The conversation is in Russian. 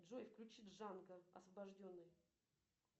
джой включи джанго освобожденный